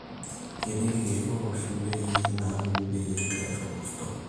ketii ilkiek ooshi ndaiki nauni peyie eer olkurto